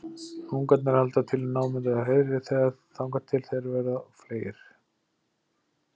Ungarnir halda til í námunda við hreiðrið þangað til þeir verða fleygir.